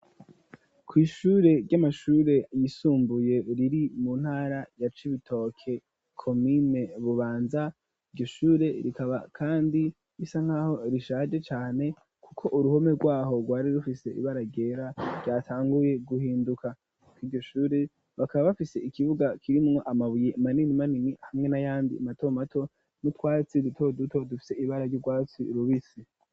kw'ishure ry'amashure yisumbuye riri mu ntara ya cibitoki komine Bubanza iryo shure rikaba kandi risa nkaho rishaje cane kuko uruhome rwaho rwari rufise ibara ryera vyatanguye guhinduka, iryo shuri bakaba bafise ikibuga kirimwo amabuye manini manini hamwe na yandi mato mato n'utwatsi duto duto dufite ibara ry'ubwatsi rubisi.